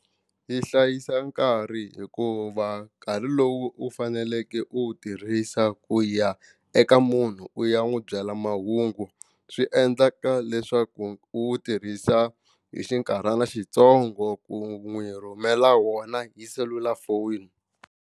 Yi hlayisa nkarhi hikuva nkarhi lowu u faneleke u wu tirhisa ku ya eka munhu u ya n'wi byela mahungu swi endlaka leswaku u tirhisa hi xinkarhana xitsongo ku n'wi rhumela wona hi selulafoni.